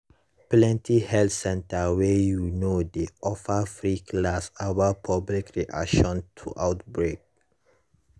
plenty health center wey you know dey offer free class about public reaction to outbreak